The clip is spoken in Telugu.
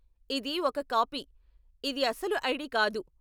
ఇది ఒక కాపీ, ఇది అసలు ఐడి కాదు.